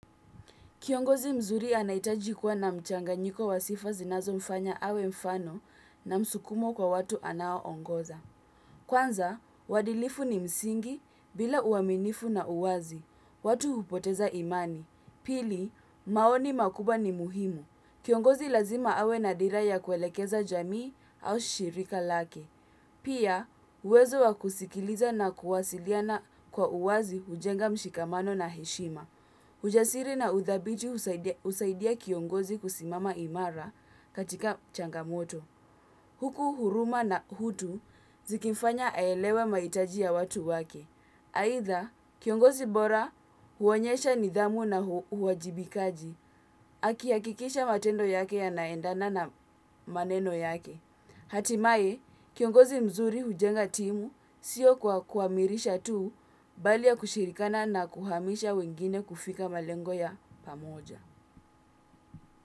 Kiongozi mzuri anahitaji kuwa na mchanganyiko wa sifa zinazomfanya awe mfano na msukumo kwa watu anao ongoza. Kwanza, uadilifu ni msingi bila uaminifu na uwazi. Watu hupoteza imani. Pili, maoni makubwa ni muhimu. Kiongozi lazima awe na dira ya kuelekeza jamii au shirika lake. Pia, uwezo wa kusikiliza na kuwasiliana kwa uwazi hujenga mshikamano na heshima. Ujasiri na udhabiti husaidia kiongozi kusimama imara katika changamoto. Huku huruma na utu zikimfanya aelewe mahitaji ya watu wake. Aidha, kiongozi bora huonyesha nidhamu na uwajibikaji. Akihakikisha matendo yake yanaendana na maneno yake. Hatimaye, kiongozi mzuri hujenga timu sio kwa kuamirisha tu bali ya kushirikana na kuhamisha wengine kufika malengo ya pamoja.